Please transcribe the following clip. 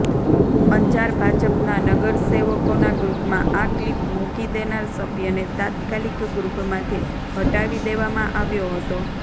અંજાર ભાજપના નગરસેવકોના ગ્રુપમાં આ ક્લિપ મૂકી દેનાર સભ્યને તાત્કાલિક ગ્રુપમાંથી હટાવી દેવામાં આવ્યો હતો